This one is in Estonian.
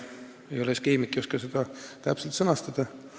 Ma ei ole keemik ega oska seda täpselt sõnastada.